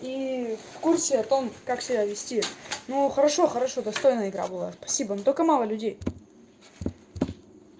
и в курсе о том как себя вести ну хорошо хорошо достойная игра была спасибо но только мало людей